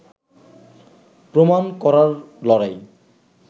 প্রমাণ করার লড়াই